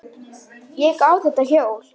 Ég á þetta hjól!